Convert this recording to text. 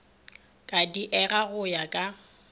ka diega go ya ka